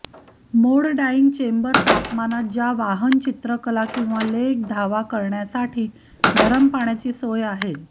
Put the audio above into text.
मोड dyeing chamber तापमानात ज्या वाहन चित्रकला किंवा लेख धावा करण्यासाठी गरम पाण्याची सोय आहे